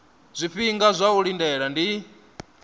zwifhinga zwa u lindela ndi